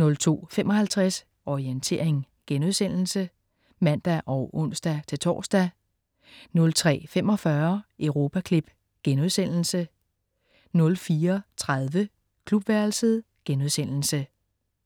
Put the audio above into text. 02.55 Orientering* (man og ons-tors) 03.45 Europaklip* 04.30 Klubværelset*